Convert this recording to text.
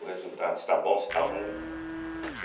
O resultado se está bom, se está ruim, né.